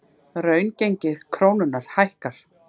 Raungengi krónunnar hækkar